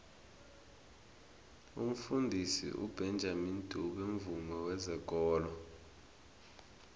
umfundisi ubenjamini dube mvumi wezekolo